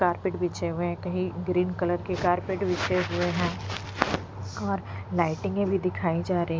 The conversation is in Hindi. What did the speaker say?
कार्पेट बिछे हुए हैं कही ग्रीन कलर के कार्पेट बिछे हुए हैं कार लाइटिंगे भी दिखाई जा रही--